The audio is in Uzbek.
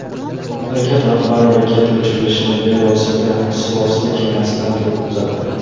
Mamlakat rahbari raketa uchirilishini bevosita suvosti kemasidan turib kuzatdi.